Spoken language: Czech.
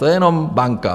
To je jenom banka.